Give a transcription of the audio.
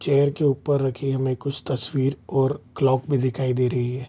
Chair के उपर रखें हमें कुछ तस्वीर और क्लॉक भी रखी दिखाई दे रही है।